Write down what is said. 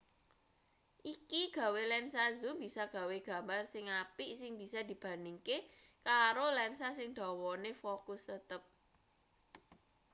iki gawe lensa zoom bisa gawe gambar sing apik sing bisa dibandhingke karo lensa sing dawane fokus tetep